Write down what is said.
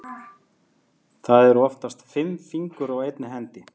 Það eru oftast fimm fingur á einni hendi.